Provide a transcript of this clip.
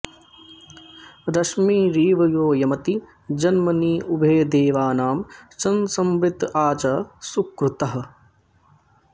रश्मीँरिव यो यमति जन्मनी उभे देवानां शंसमृत आ च सुक्रतुः